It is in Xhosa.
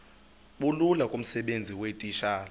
bulula kumsebenzi weetitshala